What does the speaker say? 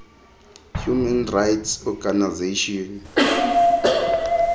human rights organizations